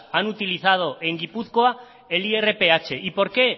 han utilizado en gipuzkoa el irph por qué